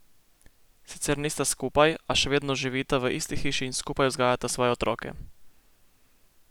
Sicer nista skupaj, a še vedno živita v isti hiši in skupaj vzgajata svoje otroke.